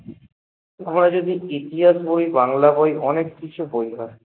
এখানে যদি ইতিহাস বই বাংলা বই অনেক কিছু বই হয়ে